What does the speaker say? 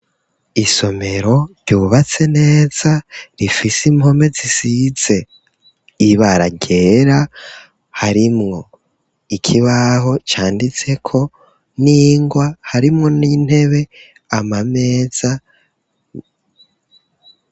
Isomero ryubatse neza rifise impome zisize ibara ryera harimwo ikibaho c'anditseko n'ingwa harimwo n'intebe, ameza.